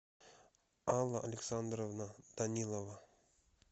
алла александровна данилова